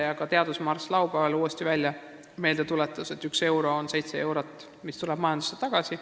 Ka laupäevane teadusmarss tuletas uuesti meelde, et 1 euro kohta tuleb 7 eurot majandusse tagasi.